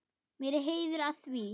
Mér er heiður að því.